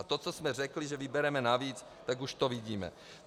A to, co jsme řekli, že vybereme navíc, tak už to vidíme.